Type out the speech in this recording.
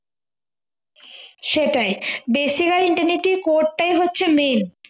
সেটাই basic আর internally core টাই হচ্ছে main